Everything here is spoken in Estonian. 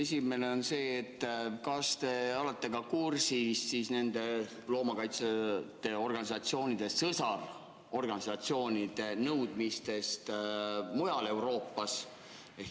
Esimene on see, kas te olete kursis loomakaitseorganisatsioonide sõsarorganisatsioonide nõudmistega mujal Euroopas?